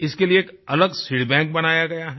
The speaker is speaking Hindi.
इसके लिए अलग सीडबैंक बनाया गया है